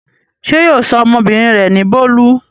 Ṣé yóò sọ ọmọbìnrin rẹ̀ ní Bólú?